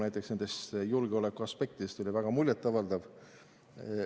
Näiteks oli loetelu julgeolekuaspektidest väga muljetavaldav.